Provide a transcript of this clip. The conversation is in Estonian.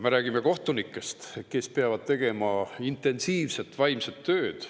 Me räägime kohtunikest, kes peavad tegema intensiivset vaimset tööd.